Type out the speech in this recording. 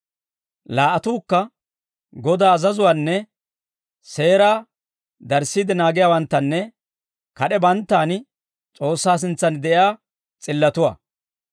Laa"atuukka Godaa azazuwaanne seeraa darissiide naagiyaawanttanne kad'ee banttaan S'oossaa sintsan de'iyaa s'illatuwaa.